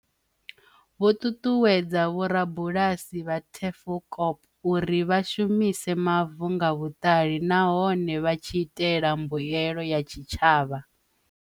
Vho ṱuṱuwedza vhorabu lasi vha Tafelkop uri vha shumise mavu nga vhuṱali nahone vha tshi itela mbuelo ya tshitshavha.